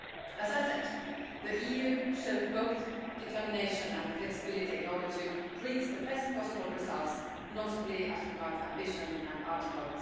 As I said, the EU showed both determination and flexibility in order to reach the best possible results, notably as regards ambition and Article